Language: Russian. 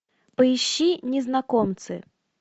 поищи незнакомцы